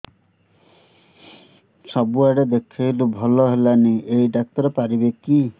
ସବୁଆଡେ ଦେଖେଇଲୁ ଭଲ ହେଲାନି ଏଇ ଡ଼ାକ୍ତର ପାରିବେ କି